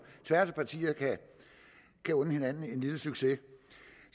tværs af partierne kan unde hinanden en lille succes